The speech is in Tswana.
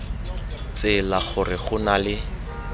tsela gore go na le